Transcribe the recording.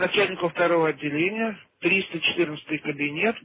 начальника второго отделения триста четырнадцатый кабинет